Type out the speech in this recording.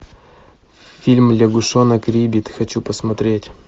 фильм лягушонок риббит хочу посмотреть